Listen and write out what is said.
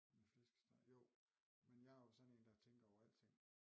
Med flæskesteg jo men jeg er jo sådan en der tænker over alting